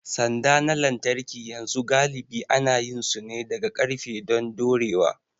Sanda na lantarki yanzu galibi ana yin su ne daga ƙarfe don dorewa.